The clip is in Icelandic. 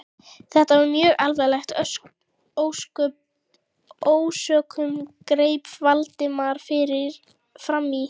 Þetta var mjög alvarleg ásökun- greip Valdimar fram í.